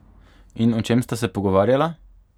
In o čem sta se pogovarjala?